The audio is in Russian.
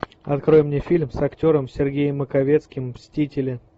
открой мне фильм с актером сергеем маковецким мстители